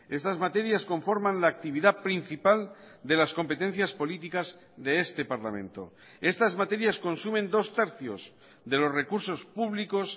estas materias conforman la actividad principal de las competencias políticas de este parlamento estas materias consumen dos tercios de los recursos públicos